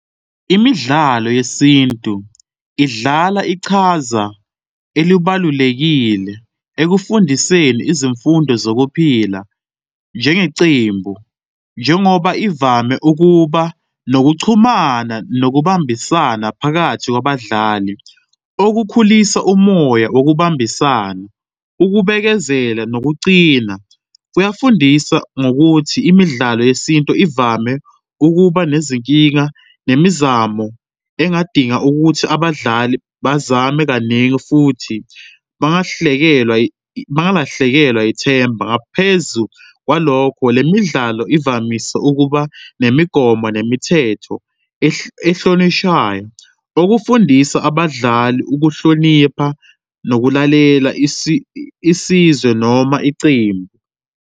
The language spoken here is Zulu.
Imidlalo yesintu idlala ichaza elubalulekile ekufundiseni izimfundo zokuphila njengeqembu, njengoba ivame ukuba nokuchumana nokubambisana phakathi kwabadlali, okukhulisa umoya wokubambisana. Ukubekezela nokuqina kuyafundisa ngokuthi imidlalo yesintu ivame ukuba nezinkinga nemizamo engadinga ukuthi abadlali bazame kaningi futhi bangahlekelwa bangalahlekelwa ithemba. Ngaphezu kwalokho, le midlalo ivamise ukuba nemigomo nemithetho ehlonishwayo okufundisa abadlali ukuhlonipha nokulalela isizwe noma iqembu.